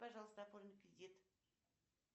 пожалуйста оформи кредит